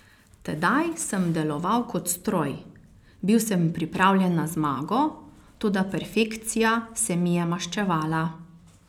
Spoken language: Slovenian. Tedaj sem deloval kot stroj, bil sem pripravljen na zmago, toda perfekcija se mi je maščevala.